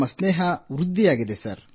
ನಮ್ಮ ಸ್ನೇಹ ವೃದ್ಧಿಯಾಗುತ್ತಿದೆ